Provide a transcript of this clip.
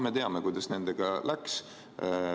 Me teame, kuidas sellega läks.